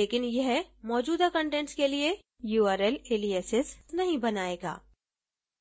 लेकिन यह मौजूदा कंटेंट्स के लिए url aliases नहीं बनायेगा